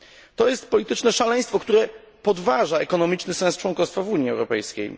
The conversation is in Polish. To jest polityczne szaleństwo, które podważa ekonomiczny sens członkostwa w Unii Europejskiej.